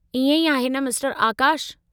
इएं ई आहे न, मिस्टरु आकाश?